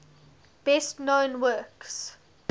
best known works